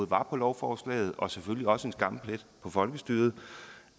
var på lovforslaget og selvfølgelig også en skamplet på folkestyret